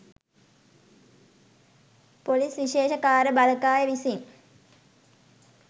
police විශේෂ කාර්ය බළකාය විසින්